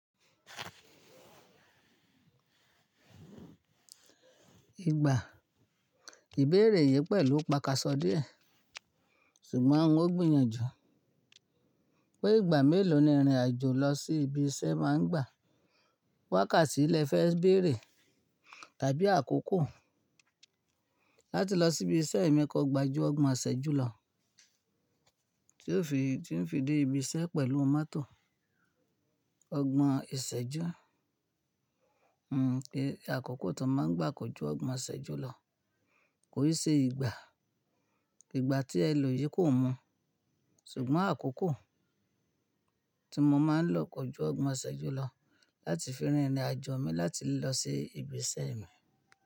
Ìgbà, ìbéèrè yìí pẹ̀lú paka sọ díẹ̀ ṣùgbọ́n n ó gbìyànjú pé ìgbà mélòó ni ìrìnàjò lọ sí ibi iṣẹ́ máa ń gbà wákàtí lẹ fẹ́ béèrè tàbí àkókò láti lọ sí ibi iṣẹ́ mi kọ gbajú ọgbọ̀n ìṣẹ́jú lọ tí ó fi dé ibi iṣẹ́ pẹ̀lú mọ́tò. Ọgbọ̀n ìṣẹ́jú, hmm, àkókò tó máa ń gbà kọjú ọgbọ̀n ìṣẹ́jú lọ kò yí ṣe ìgbà. Ìgbà tí ẹ lò yìí kò mú ṣùgbọ́n àkókò tí mo máa ń lò koju ọgbọ̀n ìṣẹ́jú lọ láti fi rìnrìnàjò mi láti lọ sí ibi iṣẹ́ mi.